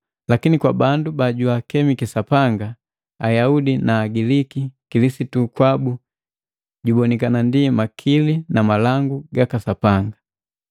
lakini kwa bandu babaakemiki na Sapanga, Ayaudi na Agiliki, Kilisitu kwabu jubonikana ndi makili na malangu gaka Sapanga.